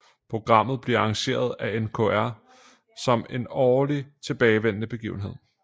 Programmet bliver arrangeret af NRK som en årligt tilbagevendende begivenhed